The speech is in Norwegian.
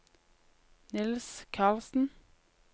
Niels Carlsen